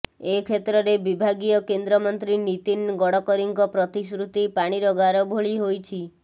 ଏ କ୍ଷେତ୍ରରେ ବିଭାଗୀୟ କେନ୍ଦ୍ରମନ୍ତ୍ରୀ ନୀତିନ ଗଡ଼କରିଙ୍କ ପ୍ରତିଶ୍ରୁତି ପାଣିର ଗାର ଭଳି ହୋଇଛି